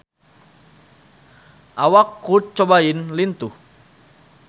Awak Kurt Cobain lintuh